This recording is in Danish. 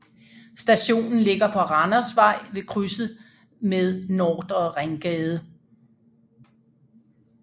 Stationen ligger på Randervej ved krydset med Nordre Ringgade